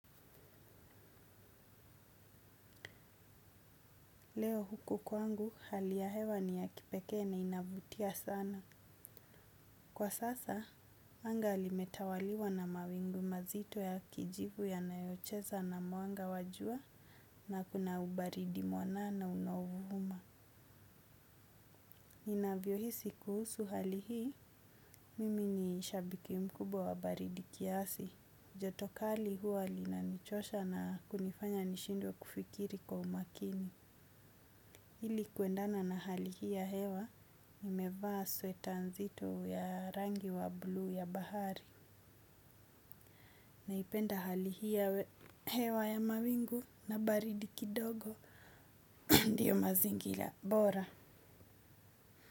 Leo huku kwangu hali ya hewa ni ya kipekee na inavutia sana. Kwa sasa, anga limetawaliwa na mawingu mazito ya kijivu yanayocheza na mwanga wa jua na kuna ubaridi mwanana unaovuma. Ninavyohisi kuhusu hali hii, mimi ni shabiki mkubwa wa baridi kiasi. Joto kali huwa linanichosha na kunifanya nishindwe kufikiri kwa umakini. Ili kuendana na hali hii ya hewa, nimevaa sweta nzito ya rangi wa bluu ya bahari. Naipenda hali hii ya hewa ya mawingu na baridi kidogo. Ndiyo mazingira bora.